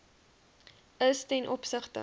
is ten opsigte